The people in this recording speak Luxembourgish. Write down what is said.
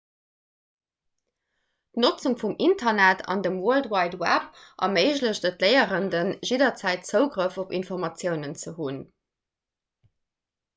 d'notzung vum internet an dem world wide web erméiglecht et léierenden jidderzäit zougrëff op informatiounen ze hunn